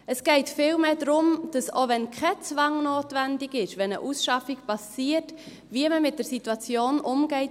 Es geht vielmehr darum, wie man mit der Situation umgeht, wenn eine Ausschaffung geschieht, auch wenn kein Zwang notwendig ist;